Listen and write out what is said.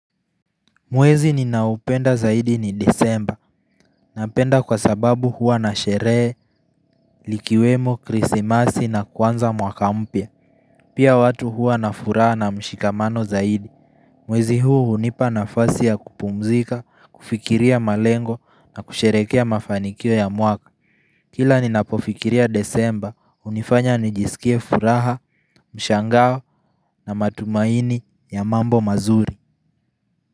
Mwezi ninaupenda zaidi ni desemba, napenda kwa sababu huwa na sheree, likiwemo, krisimasi na kwanza mwakaumpia. Pia watu huwa na furaha na mshikamano zaidi, mwezi huu unipa na fasi ya kupumzika, kufikiria malengo na kusherekea mafanikio ya mwaka. Kila ninapofikiria desemba, unifanya nijisikie furaha, mshangawa na matumaini ya mambo mazuri.